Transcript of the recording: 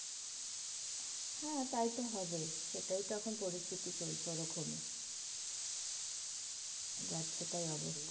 হ্যাঁ তাইতো হবে. সেটাই তো এখন পরিস্থিতি চলছে ওরকমই. যাচ্ছেতাই অবস্থা.